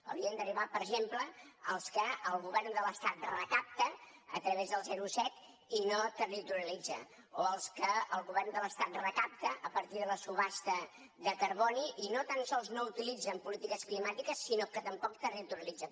haurien d’arribar per exemple els que el go vern de l’estat recapta a través del zero coma set i no territorialitza o els que el govern de l’estat recapta a partir de la subhasta de carboni i no tan sols no utilitza en polítiques climàtiques sinó que tampoc territorialitza